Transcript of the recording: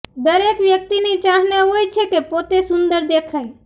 દરેક વ્યક્તિની ચાહના હોય છે કે પોતે સુંદર દેખાય